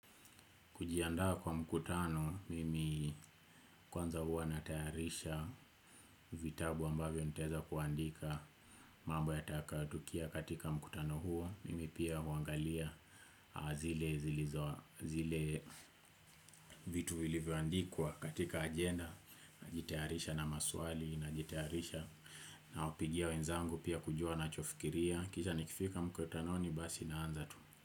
Kujiandha kwa mkutano, mimi kwanza huwa natayarisha vitabu ambavyo nitaeza kuandika mambo yatakayotukia katika mkutano huo. Mimi pia huangalia zile zilizo vitu vilivyoandikwa katika agenda, najitayarisha na maswali najitayarisha nawapigia wenzangu pia kujua wachofikiria. Kisha nikifika mkutanoni basi naanza tu.